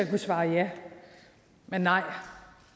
kunne svare ja men nej